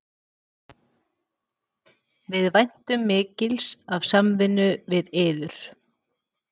Við væntum mikils af samvinnunni við yður